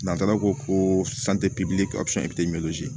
N'a taara ko